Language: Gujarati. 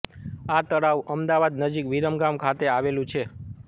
આ તળાવ અમદાવાદ નજીક વિરમગામ ખાતે આવેલું છે